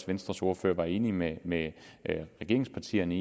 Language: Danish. venstres ordfører var enig med med regeringspartierne